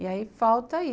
E aí falta aí.